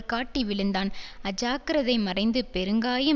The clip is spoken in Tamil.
காட்டி விழுந்தான் அஜாக்கிரதை மறைந்து பெருங்காயம்